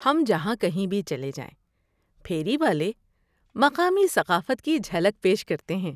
ہم جہاں کہیں بھی چلے جائیں پھیری والے مقامی ثقافت کی جھلک پیش کرتے ہیں۔